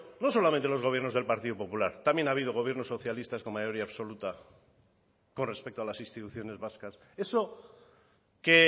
no solamente los gobiernos del partido popular también ha habido gobiernos socialistas con mayoría absoluta con respecto a las instituciones vascas eso que